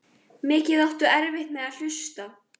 Mikið áttu erfitt með að hlusta.